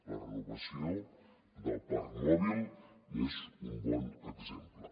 la renovació del parc mòbil n’és un bon exemple